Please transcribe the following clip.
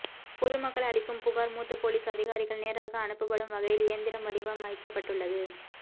பொதுமக்கள் அளிக்கும் புகார் மூத்த போலீஸ் அதிகாரிகள் நேராக அனுப்பப்படும் வகையில் இயந்திரம் வடிவமைக்கப்பட்டுள்ளது